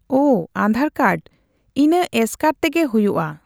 ᱚ, ᱟᱸᱫᱷᱟᱨ ᱠᱟᱨᱰ᱾ ᱤᱱᱟᱹ ᱮᱥᱠᱟᱨ ᱛᱮᱜᱮ ᱦᱩᱭᱩᱜᱼᱟ?